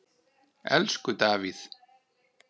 Elsku Davíð.